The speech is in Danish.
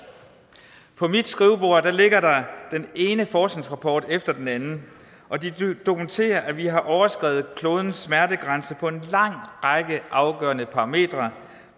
på mit skrivebord ligger der den ene forskningsrapport efter den anden og de dokumenterer at vi har overskredet klodens smertegrænse på en lang række afgørende parametre